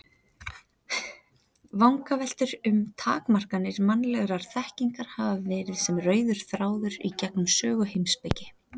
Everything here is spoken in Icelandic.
Vangaveltur um takmarkanir mannlegrar þekkingar hafa verið sem rauður þráður í gegnum sögu heimspeki.